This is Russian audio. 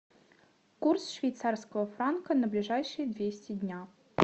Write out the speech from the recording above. курс швейцарского франка на ближайшие двести дня